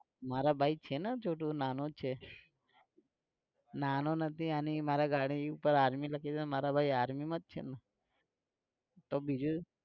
મારા ભાઈ છે ને છોટુ નાનો જ છે નાનો નથી, અને એ મારા ગાડી ઉપર army લખેલું છે તો મારા ભાઈ army માં જ છે ને તો બીજું